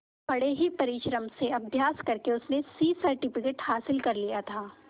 बड़े ही परिश्रम से अभ्यास करके उसने सी सर्टिफिकेट हासिल कर लिया था